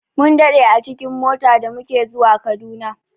Mun daɗe a cikin mota da muke zuwa Kaduna.